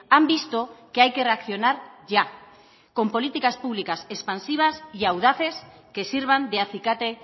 han visto que hay que reaccionar ya con políticas públicas expansivas y audaces que sirvan de acicate